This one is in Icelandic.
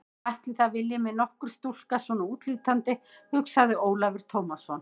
Ætli það vilji mig nokkur stúlka svona útlítandi, hugsaði Ólafur Tómasson.